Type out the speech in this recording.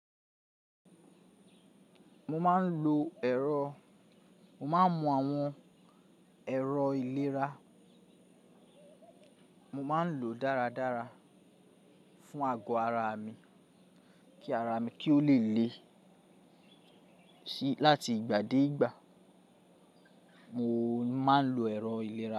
Mo máa ń lo ẹ̀rọ, mo máa ń mu àwọn ẹ̀rọ ìlera, mo máa ń lò o dáradára fún àgọ́ ara mi, kí ara mi kí ó le le láti ìgbà dé ìgbà. Mo máa ń lo ẹ̀rọ ìlera.